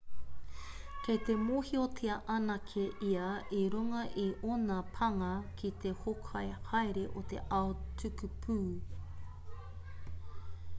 kei te mōhiotia anake ia i runga i ōna pānga ki te hōkai haere o te ao tukupū